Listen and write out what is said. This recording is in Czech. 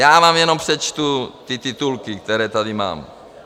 Já vám jenom přečtu ty titulky, které tady mám.